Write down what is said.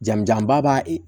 Jamu janba b'a